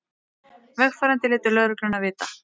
Vegfarendur létu lögregluna vita